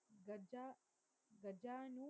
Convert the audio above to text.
கர்ஜா கர்ஜானு